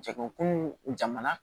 Jɛkulu kununw jamana